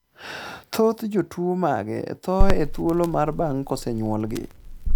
thoth jotuo mage thoo e thuolo mar bang' kosenyuolgi